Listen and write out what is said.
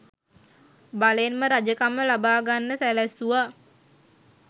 බලෙන්ම රජකම ලබාගන්න සැලැස්සුවා.